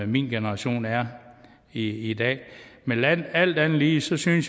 min generation er i i dag men alt andet lige synes jeg